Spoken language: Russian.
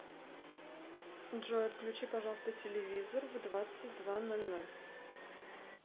джой отключи пожалуйста телевизор в двадцать два ноль ноль